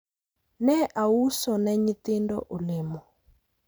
ne auso ne nyithindo olemo